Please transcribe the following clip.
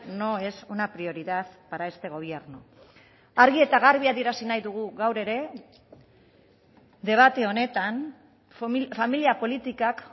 no es una prioridad para este gobierno argi eta garbi adierazi nahi dugu gaur ere debate honetan familia politikak